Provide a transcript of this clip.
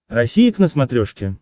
россия к на смотрешке